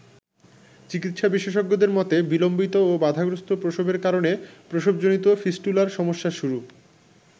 চিকিৎসা বিশেষজ্ঞদের মতে বিলম্বিত ও বাধাগ্রস্থ প্রসবের কারণে প্রসবজনিত ফিস্টুলার সমস্যার শুরু।